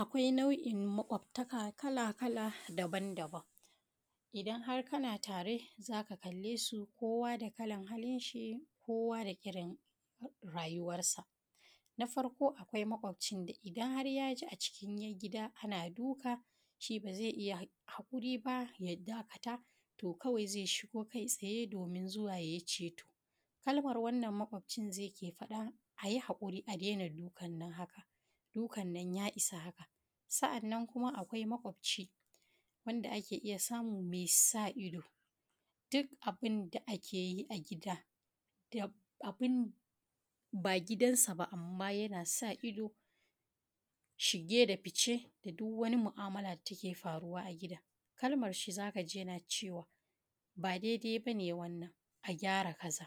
Akwai nau’in maƙwabtaka kala-kala daban-daban. Idan har kana tare, za ka kallesu, kowa da kalan halinshi, kowa da irin rayuwarsa. Na farko, akwai maƙwabcin da idan har yaji acikin gida ana shi, ba za iya haƙuri ba. Ya dakata, to kawai zai shigo kai tsaye, domin zuwa yayi ceto. Kalmar wannan maƙwabcin zai ke faɗa: “Ayi haƙuri, adaina duka. Haka dukan nan ya isa!” Sa’annan, akwai maƙwabci wanda ake iya samu mai sa ido. Duk abun da ake yi a gida — ba gidansa ba — amma yana sa ido: shige da fice da duk wani mu’amala da take faruwa a gidan. Kalmarsa za kaji yana cewa: Ba daidai ba nan. A gyara kaza,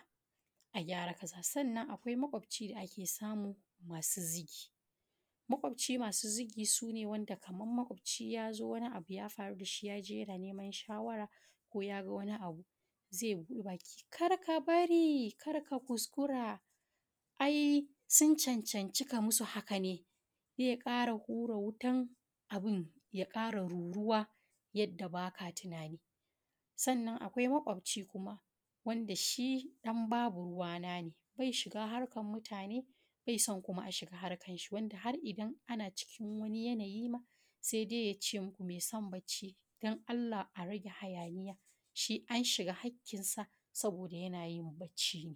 a gyara kaza.” Sannan, akwai maƙwabci da ake samu masu zigi. Wannan maƙwabtan masu zigi su ne wanda idan maƙwabci yazo, wani abu ya faru dashi, yaje yana neman shawara ko yaga wani abu, zai buɗe baki: “Kada ka bari! Kada ka kuskura! A’i sun cancanta ka musu haƙa ne.” Zai ƙara hura wutan abun ya ƙara ruruwa, yada ba ka tunani ba. Sannan, akwai maƙwabci kuma wanda shi ɗan babu ruwa. Ne bai shiga harkan mutane baso, kuma bai so a shiga harkansa. Har idan ana cikin wani yanayi ma, sai dai yace: “Me san bacci? Dan Allah, arage hayaniya! Shi an shiga haƙƙinsa, yana yin bacci.